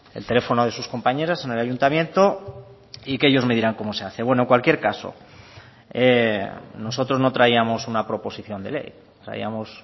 el teléfono de sus compañeras en el ayuntamiento y que ellos me dirán cómo se hace bueno en cualquier caso nosotros no traíamos una proposición de ley traíamos